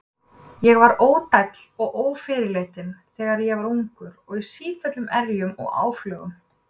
Ég var ódæll og ófyrirleitinn, þegar ég var ungur, og í sífelldum erjum og áflogum.